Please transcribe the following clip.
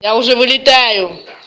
я уже вылетаю